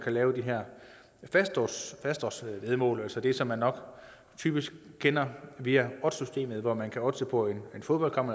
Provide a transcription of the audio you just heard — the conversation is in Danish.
lave de her fastoddsvæddemål altså det som man nok typisk kender via oddssystemet hvor man kan oddse på en fodboldkamp